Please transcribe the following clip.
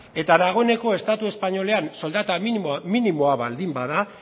eta dagoeneko estatu espainolean soldata minimoa baldin bada